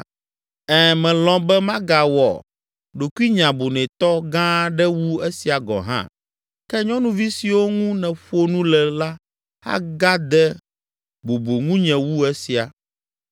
Ɛ̃, melɔ̃ be magawɔ ɖokuinye abunɛtɔ gã aɖe wu esia gɔ̃ hã, ke nyɔnuvi siwo ŋu nèƒo nu le la agade bubu ŋunye wu esia.”